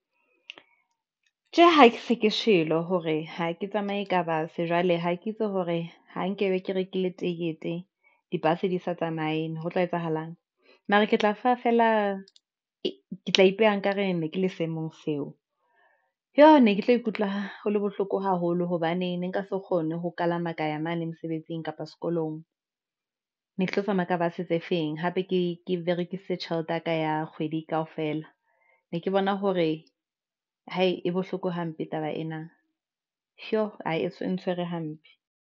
Tjhe, ha ke se ke shebile hore ha ke tsamaye bus jwale ha ke itse hore ha nkebe ke rekile tekete di-bus di sa tsamaye ne ho tla etsahalang? Mara ke tla ke tla ipeha. Nkare ne ke le seemong seo. Joo, ne ke tlo ikutlwa hole bohloko haholo hobane ne nka se kgone ho kalama kaya mane mosebetsing kapa sekolong ne ke tlo tsamaya bus tse feng. Hape ke berekisitse tjhelete yaka ya kgwedi kaofela ne ke bona hore hai e bohloko hampe taba ena jo, e ntshwere hampe.